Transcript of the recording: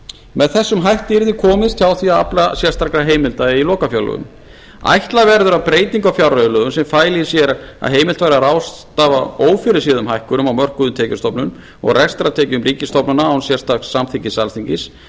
með þessum hætti yrði komist hjá því að afla sérstakra heimilda í lokafjárlögum ætla verður að breyting á fjárreiðulögum sem fæli í sér að heimilt væri að ráðstafa ófyrirséðum hækkunum á mörkuðum tekjustofnum og rekstrartekjum ríkisstofnana án sérstaks samþykkis alþingis